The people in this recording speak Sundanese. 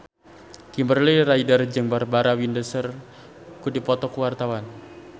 Kimberly Ryder jeung Barbara Windsor keur dipoto ku wartawan